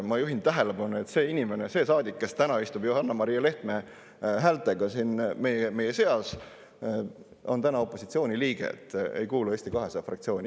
Ma juhin tähelepanu, et see inimene, see saadik, kes täna istub Johanna-Maria Lehtme häältega siin meie seas, on praegu opositsiooni liige, kes ei kuulu Eesti 200 fraktsiooni.